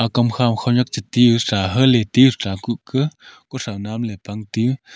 kam kham khonak chu ti hucha hela ti hucha kuk ka kusa nam ley pangtu.